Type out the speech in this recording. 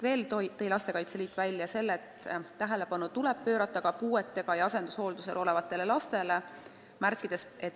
Veel tõi Helika Saar välja selle, et tähelepanu tuleb pöörata ka puuetega ja asendushooldusel olevatele lastele.